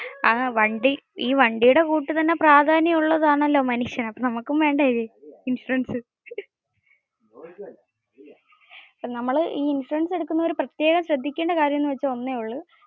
ഈ വണ്ടിയെ കൂട്ട് തന്നെ പ്രാധാന്യം ഉള്ളത് ആണല്ലോ മനുഷ്യൻ. അപ്പോ നമ്മുക്കും വേണ്ടേ ഇൻഷുറൻസ്. നമ്മള് ഈ ഇൻഷുറൻസ് എടുക്കുന്നവര് പ്രത്യേകം ശ്രദ്ധിക്കേണ്ട കാര്യം ഒന്നേ ഉള്ളു.